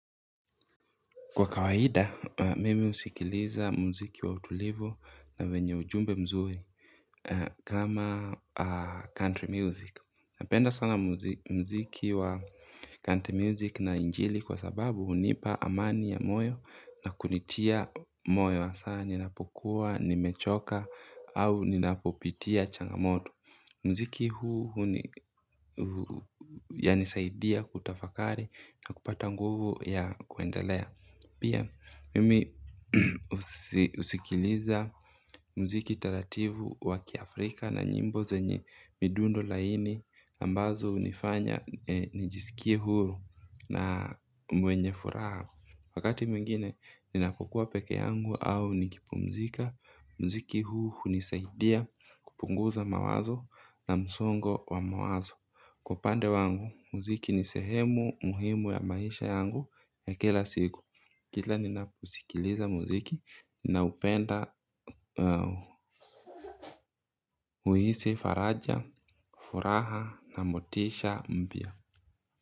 Kwa kawaida, mimi husikiliza muziki wa utulivu na wenye ujumbe mzuri kama country music. Napenda sana muziki wa country music na injili kwa sababu hunipa amani ya moyo na kunitia moyo. Saa ninapokuwa, nimechoka au ninapopitia changamoto. Muziki huu yanisaidia kutafakari na kupata nguvu ya kuendelea. Pia, mimi husikiliza muziki taratibu wakiafrika na nyimbo zenye midundo laini ambazo hunifanya nijisikie huru na mwenye furaha. Wakati mwingine, ninapokuwa peke yangu au nikipumzika, muziki huu hunisaidia kupunguza mawazo na msongo wa mawazo. Kwa upande wangu, muziki ni sehemu muhimu ya maisha yangu ya kila siku. Kila ninapo kusikiliza muziki nina upenda huhisi faraja, furaha na motisha mpya.